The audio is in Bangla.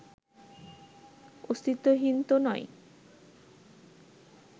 অস্তিত্বহীন তো নয়